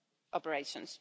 operations.